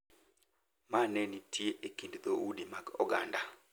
Ma ne nitie e kind dhoudi mag oganda